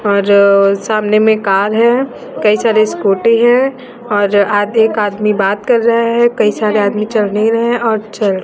और सामने में कार है कई सारे स्कूटी है और आगे एक आदमी बात कर रहे है कई सारे आदमी चढ़ नहीं रहे है और चढ़ --